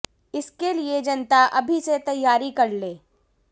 इसके लिए जनता अभी से तैयारी कर ले